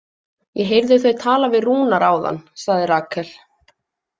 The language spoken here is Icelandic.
Ég heyrði þau tala við Rúnar áðan, sagði Rakel.